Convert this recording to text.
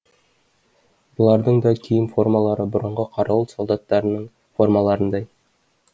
бұлардың да киім формалары бұрынғы қарауыл солдаттардың формаларындай